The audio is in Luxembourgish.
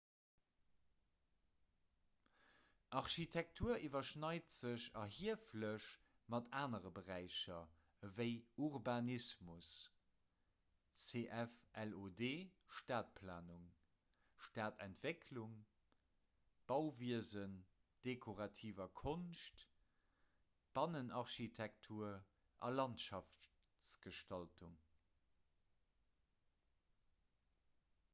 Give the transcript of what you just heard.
architektur iwwerschneit sech erhieflech mat anere beräicher ewéi urbanismus cf lod stadtplanung stadtentwicklung bauwiesen dekorativer konscht bannenarchitektur a landschaftsgestaltung